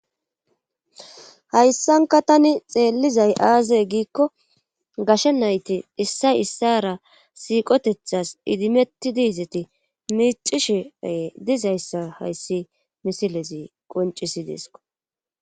hayssanka tani xeellizay aazey giikko gashe nayti issay issara siiqotethas idimeti diizeti miicishe dizayssa hayssi misilezi qoncisi deesko